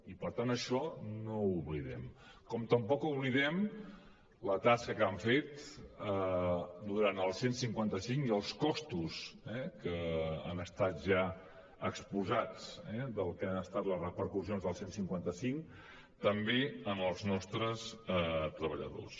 i per tant això no ho oblidem com tampoc oblidem la tasca que han fet durant el cent i cinquanta cinc i els costos que han estat ja exposats del que han estat les repercussions del cent i cinquanta cinc també en els nostres treballadors